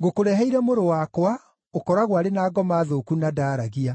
ngũkũreheire mũrũ wakwa, ũkoragwo arĩ na ngoma thũku na ndaaragia.